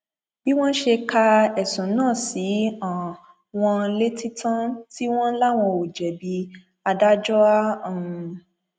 bí wọn ṣe ka ẹsùn náà sí um wọn létí tán tí wọn láwọn ò jẹbi adájọ a um